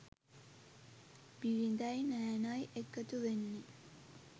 බිරිඳයි නෑනයි එකතු වෙන්නේ.